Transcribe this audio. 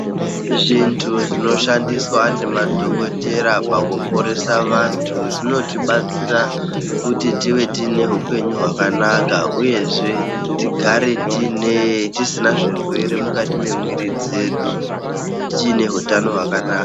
Zvintu zvinoshandiswa nemadhokodheya pakuporesa vantu zvinotibatsira kuti tinge tine hupenyu hwakanaka uyezve tigare tisina zvirwere mukati memwiri dzedu tine hutano hwakanaka.